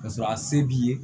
Ka sɔrɔ a se b'i ye